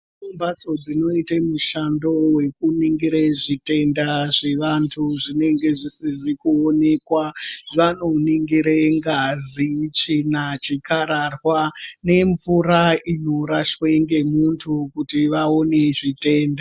Kune mhatso dzinoite mishando yekuningire zvitenda zvevantu zvinenga zvisizi kuonekwa vanoningire ngazi tsvina chikararwa nemvura inorashwe ngemuntu kuti vaone zvitenda.